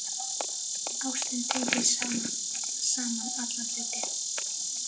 Ástin tengir saman alla hluti.